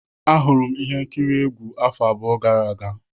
Ahụrụ m ihe nkiri egwu afọ abụọ gara aga.